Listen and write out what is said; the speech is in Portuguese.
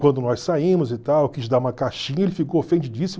Quando nós saímos e tal, eu quis dar uma caixinha, ele ficou ofendidíssimo.